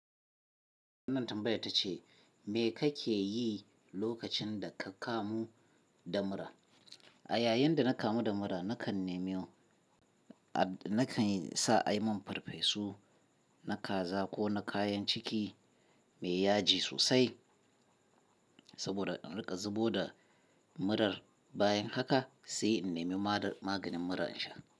Wannan tambayar ta ce me ka ke yi lokacin da ka kamu da mura? A yayin da na kamu da mura nakan nemi, a nakan sa a yi min farfesu na kaza ko na kayan ciki mai yaji sosai saboda in riƙa zubo da murar bayan haka sai in nemi mada maganin mura in sha.